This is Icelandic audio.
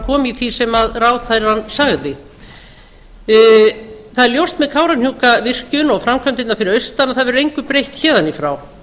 kom í því sem ráðherrann sagði það er ljóst með kárahnjúkavirkjun og framkvæmdirnar fyrir austan að það verður engu breytt héðan í frá framkvæmdin